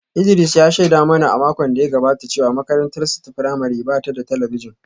Idris ya shaida mana a makon da ya gabata cewa makarantarsa ​​ta firamare ba ta da talabijin